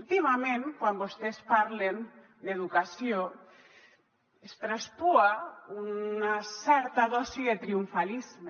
últimament quan vostès parlen d’educació es traspua una certa dosi de triomfalisme